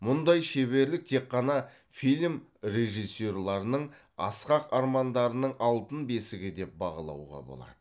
мұндай шеберлік тек қана фильм режиссерларының асқақ армандарының алтын бесігі деп бағалауға болады